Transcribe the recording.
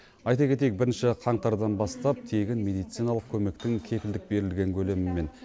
айта кетейік бірінші қаңтардан бастап тегін медициналық көмектің кепілдік берілген көлемі мен